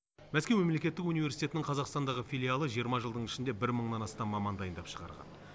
мәскеу мемлектеттік университетінің қазақстандағы филиалы жиырма жылдың ішінде бір мыңнан астам маман дайындап шығарған